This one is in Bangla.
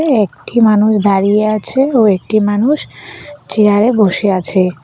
একঠি মানুষ দাঁড়িয়ে আছে ও একটি মানুষ চেয়ার এ বসে আছে।